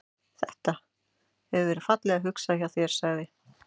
Þetta. hefur verið fallega hugsað hjá þér sagði